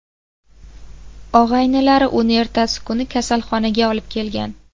Og‘aynilari uni ertasi kuni kasalxonaga olib kelgan.